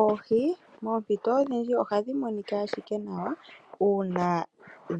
Oohi moompito odhindji ohadhi monika ashike nawa uuna